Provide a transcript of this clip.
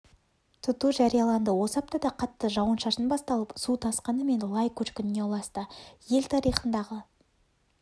тұту жарияланды осы аптада қатты жауын-шашын басталып су тасқыны мен лай көшкініне ұласты ел тарихындағы